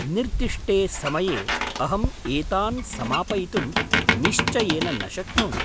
निर्दिष्टे समये अहम् एतान् समापयितुं निश्चयेन न शक्नोमि।